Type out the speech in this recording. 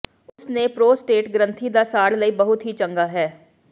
ਉਸ ਨੇ ਪ੍ਰੋਸਟੇਟ ਗ੍ਰੰਥੀ ਦਾ ਸਾੜ ਲਈ ਬਹੁਤ ਹੀ ਚੰਗਾ ਹੈ